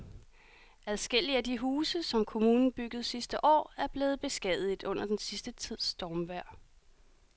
Adskillige af de huse, som kommunen byggede sidste år, er blevet beskadiget under den sidste tids stormvejr.